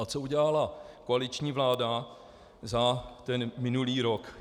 A co udělala koaliční vláda za ten minulý rok?